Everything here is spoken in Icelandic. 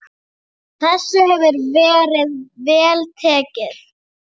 Þessu hefur verið vel tekið.